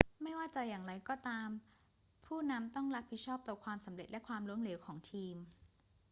ไม่ว่าจะอย่างไรก็ตามผู้นำต้องรับผิดชอบต่อความสำเร็จและความล้มเหลวของทีม